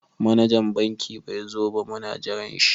Manajan banki bai zo ba muna jiran shi.